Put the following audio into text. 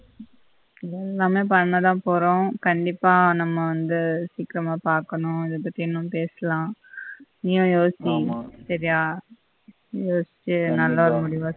பண்ணதான் போறோம் கண்டிப்பா நம்ம வந்து சீக்கிரமா பார்க்கணும் இத பத்தி இன்னம் பேசலாம் நீயும் யோசி ஆமா சரியா யோசிச்சி நல்ல ஒரு முடிவா